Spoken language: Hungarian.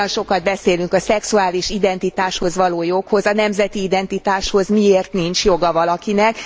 Olyan sokat beszélünk a szexuális identitáshoz való jogról, a nemzeti identitáshoz miért nincs joga valakinek?